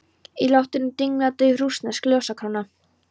Í loftinu dinglaði dauf rússnesk ljósakróna.